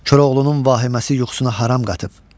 Koroğlunun vahiməsi yuxusuna haram qatıb.